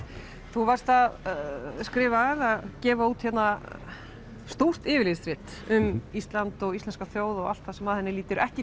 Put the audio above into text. þú varst að skrifa eða gefa út stórt yfirlitsrit um Ísland og íslenska þjóð og allt það sem að henni lítur ekki